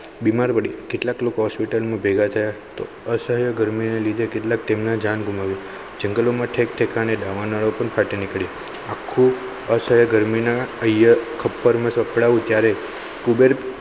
બીમાર પડી કેટલાક લોકો hospital ભેગા અસહ્ય ગરમીને લીધે કેટલાક તેમને જાન જંગલોમાં ઠેક ઠેકાણે દાવાનળ પણ ફાટી નીકળી આખું અસહ્ય ગરમીના ખપ્પર માં સપડાવું ત્યારે ત્યારે કુબેર.